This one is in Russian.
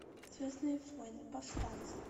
звездные войны повстанцы